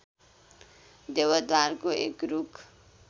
देवदारको एक रुख